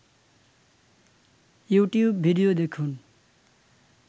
YouTube video দেখুন